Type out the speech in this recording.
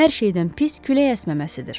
Hər şeydən pis külək əsməməsidir.